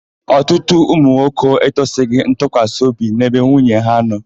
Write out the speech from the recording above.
Ọtụtụ ụmụnwoke ekwesịghị ntụkwasịobi n'ebe nwunye ha nọ.